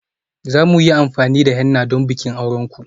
Za mu yi amfani da henna don bikin auren ku?